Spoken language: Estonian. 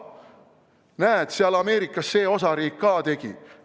Näed, seal Ameerikas see osariik ka tegi!